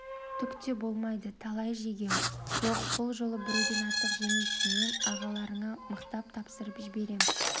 түк те болмайды талай жегем жоқ бұл жолы біреуден артық жемейсің мен ағаларыңа мықтап тапсырып жіберем